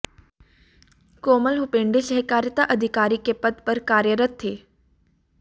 कोमल हुपेंडी सहकारिता अधिकारी के पद पर कार्यरत थे